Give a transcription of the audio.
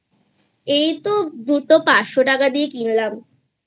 এইতো দুটো পাঁচশো টাকা দিয়ে কিনলামI